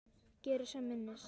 Geri sem minnst.